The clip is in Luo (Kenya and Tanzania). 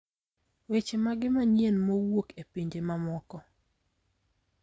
Weche mage manyien mowuok e pinje mamoko?